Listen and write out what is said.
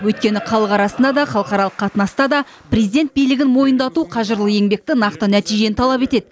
өйткені халық арасында да халықаралық қатынаста да президент билігін мойындату қажырлы еңбекті нақты нәтижені талап етеді